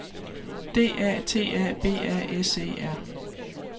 D A T A B A S E R